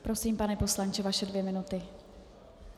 Prosím, pane poslanče, vaše dvě minuty.